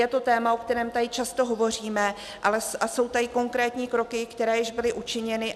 Je to téma, o kterém tady často hovoříme, a jsou tady konkrétní kroky, které již byly učiněny.